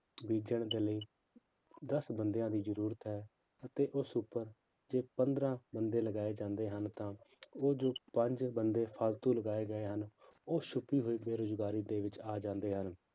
ਬੀਜਣ ਦੇ ਲਈ ਦਸ ਬੰਦਿਆਂ ਦੀ ਜ਼ਰੂਰਤ ਹੈ ਤੇ ਉਸ ਉੱਪਰ ਤੇ ਪੰਦਰਾਂ ਬੰਦੇ ਲਗਾਏ ਜਾਂਦੇ ਹਨ ਤਾਂ ਉਹ ਜੋ ਪੰਜ ਬੰਦੇ ਫਾਲਤੂ ਲਗਾਏ ਗਏ ਹਨ, ਉਹ ਛੁੱਪੀ ਹੋਈ ਬੇਰੁਜ਼ਗਾਰੀ ਦੇ ਵਿੱਚ ਆ ਜਾਂਦੇ ਹਨ